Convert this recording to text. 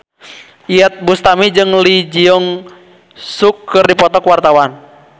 Iyeth Bustami jeung Lee Jeong Suk keur dipoto ku wartawan